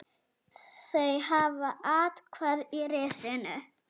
Þau hafa athvarf í risinu.